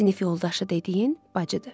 Sinif yoldaşı dediyin bacıdır.